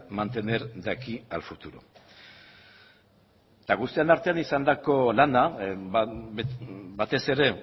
mantener de aquí al futuro eta guztion artean izandako lana batez ere